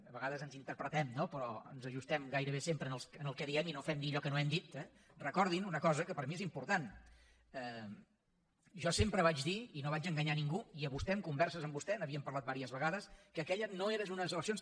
a vegades ens interpretem no però ens ajustem gairebé sempre al que diem i no fem dir allò que no hem dit eh recordin una cosa que per mi és important jo sempre vaig dir i no vaig enganyar ningú i a vostè en converses amb vostè n’havíem parlat diverses vegades que aquelles no eren unes eleccions